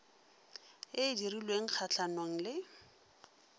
e e dirilweng kgatlhanong le